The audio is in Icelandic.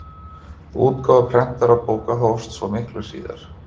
Útgáfa prentaðra bóka hófst svo miklu síðar.